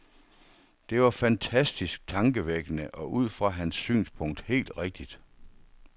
Det var fantastisk tankevækkende, og ud fra hans synspunkt helt rigtigt.